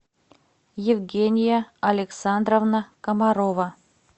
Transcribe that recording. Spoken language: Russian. евгения александровна комарова